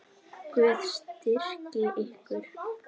Guð styrki ykkur.